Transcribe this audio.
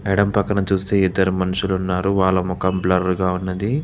ఎడం పక్కన చూస్తే ఇద్దరు మనుషులు ఉన్నారు వాళ్ళ ముఖం బ్లర్ గా ఉన్నది.